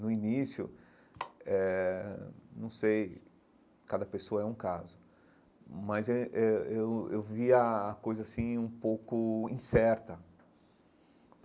No início eh, não sei, cada pessoa é um caso, mas eh eh eu eu via a coisa assim um pouco incerta.